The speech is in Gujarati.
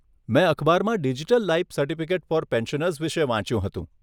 મેં અખબારમાં digital life certificate for pensioners વિષે વાંચ્યુ હતું.